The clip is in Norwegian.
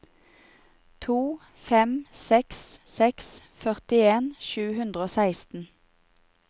to fem seks seks førtien sju hundre og seksten